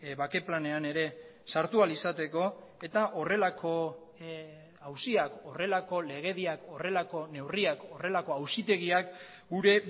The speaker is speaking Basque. bake planean ere sartu ahal izateko eta horrelako auziak horrelako legediak horrelako neurriak horrelako auzitegiak gure